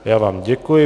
Já vám děkuji.